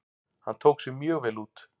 Hann tók sig mjög vel út.